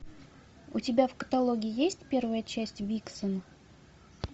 у тебя в каталоге есть первая часть виксон